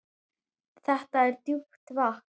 Þetta er djúpt vatn.